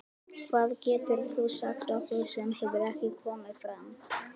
Hvað getur þú sagt okkur sem hefur ekki komið fram?